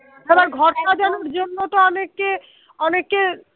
ঘর সাজানোর জন্য তো অনেকে অনেকে